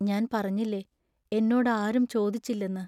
ഞാൻ പറഞ്ഞില്ലേ, എന്നോടാരും ചോദിച്ചില്ലെന്ന്.